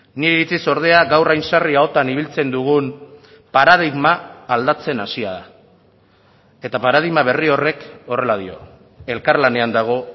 nire iritziz ordea gaur hain sarri ahotan ibiltzen dugun paradigma aldatzen hasia da eta paradigma berri horrek horrela dio elkarlanean dago